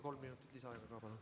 Kolm minutit lisaaega, palun.